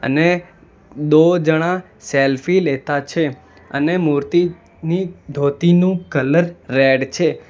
અને દો જણા સેલ્ફી લેતા છે અને મૂર્તિની ધોતીનું કલર રેડ છે.